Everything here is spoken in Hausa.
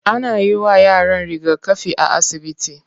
Ana yiwa yaran rigakafi a asibiti.